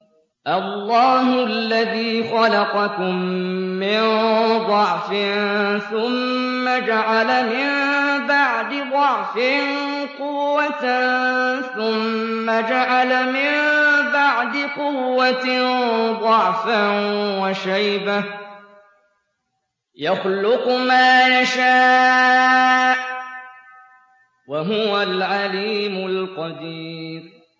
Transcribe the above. ۞ اللَّهُ الَّذِي خَلَقَكُم مِّن ضَعْفٍ ثُمَّ جَعَلَ مِن بَعْدِ ضَعْفٍ قُوَّةً ثُمَّ جَعَلَ مِن بَعْدِ قُوَّةٍ ضَعْفًا وَشَيْبَةً ۚ يَخْلُقُ مَا يَشَاءُ ۖ وَهُوَ الْعَلِيمُ الْقَدِيرُ